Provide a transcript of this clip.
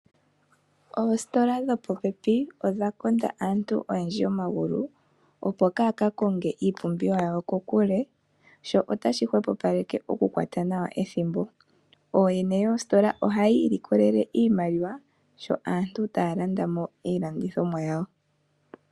Oositola dhopopepi odha konda aantu oyendji omagulu, opo kaaya ka konge iipumbiwa yawo kokule. Ohashi hwepopaleke ethimbo. Ooyene yoositola ohaya ilikolele iimaliwa sho aantu taya landa mo iilandithomwa yawo.